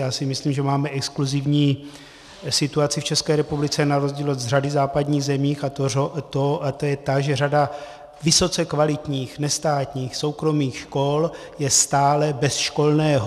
Já si myslím, že máme exkluzivní situaci v České republice na rozdíl od řady západních zemí, a to je ta, že řada vysoce kvalitních nestátních soukromých škol je stále bez školného.